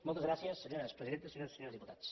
moltes gràcies senyora presidenta senyors i senyores diputats